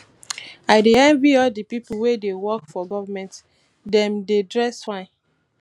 i dey envy all the people wey dey work for government dem dey dress fine